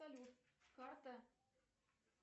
салют карта